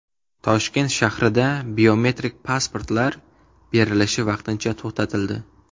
Toshkent shahrida biometrik pasportlar berilishi vaqtincha to‘xtatildi .